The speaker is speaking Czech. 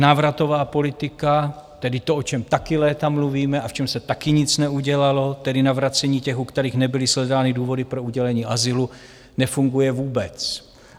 Návratová politika, tedy to, o čem taky léta mluvíme a v čem se taky nic neudělalo, tedy navracení těch, u kterých nebyly shledány důvody pro udělení azylu, nefunguje vůbec.